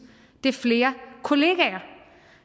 er flere kollegaer